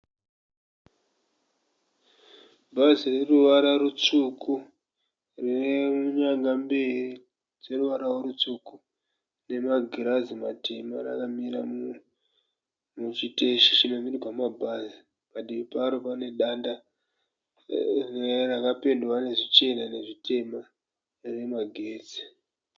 Bhazi reruvara rutsvuku, rine nyanga mberi dzeruvaravo rutsvuku nemagirazi matema rakamira muchiteshi chinokwirirwa mabhazi. Padivi paro pane danda rakapendwa nezvichena nezvitema remagetsi.